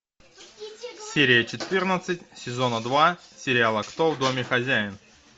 серия четырнадцать сезона два сериала кто в доме хозяин